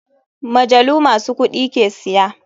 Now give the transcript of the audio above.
Majalu masu kuɗi ke siya.